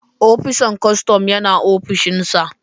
opisan kostom Yana opishinsa